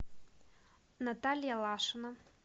наталья лашина